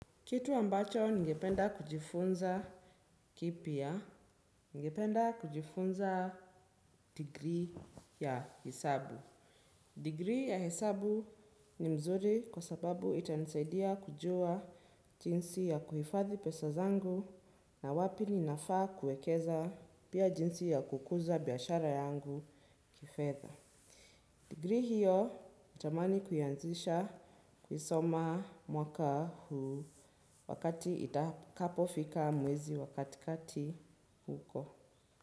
Kitu ambacho ningependa kujifunza kipy, ningependa kujifunza degree ya hesabu. Degree ya hesabu ni mzuri kwa sababu itanisaidia kujua jinsi ya kuhifadhi pesa zangu, na wapi ninafaa kuwekeza. Pia jinsi ya kukuza biashara yangu kifedha. Degree hiyo, natamani kuianzisha kuisoma mwaka huu, wakati itakapofika mwezi wa katikati huko.